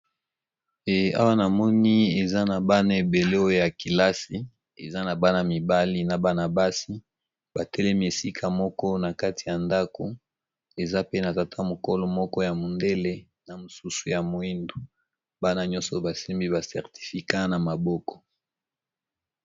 Awa na moni eza na bana ébélé oyo ya kelasi , eza na bana mibali na bana basi ba telemi esika moko na kati ya ndak. Eza pe na tata mukolo moko ya mundele na mosusu ya moyindo, bana nyonso ba simbi ba certificats na maboko .